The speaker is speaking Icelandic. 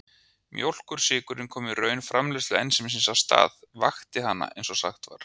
Mjólkursykurinn kom í raun framleiðslu ensímsins af stað, vakti hana eins og sagt var.